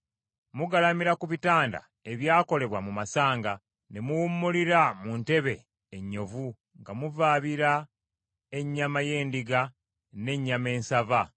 Mugalamira ku bitanda ebyakolebwa mu masanga ne muwummulira mu ntebe ennyonvu nga muvaabira ennyama y’endiga n’ey’ennyana ensava.